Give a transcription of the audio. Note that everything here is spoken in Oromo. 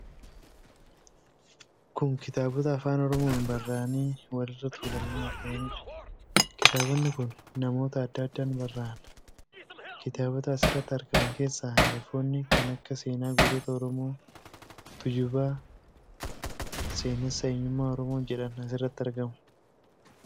Kun kitaabota Afaan Oromoon barraa'anii walirra tuulamanii argamanidha. Kitaabinni kun namoota adda addaan barraa'ani. Kitaabota as irratti argaman keessaa hangafoonni kan akka Seenaa Gootota Oromoo, Tuujuba, Seenessa Eenyummaa Oromoo jedhan asirratti argamu.